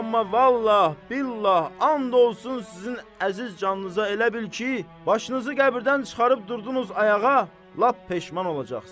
Amma vallah, billah, and olsun sizin əziz canınıza elə bil ki, başınızı qəbirdən çıxarıb durdunuz ayağa lap peşman olacaqsınız.